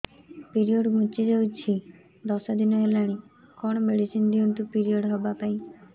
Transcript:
period ଘୁଞ୍ଚି ଯାଇଛି ଦଶ ଦିନ ହେଲାଣି କଅଣ ମେଡିସିନ ଦିଅନ୍ତୁ ପିରିଅଡ଼ ହଵା ପାଈଁ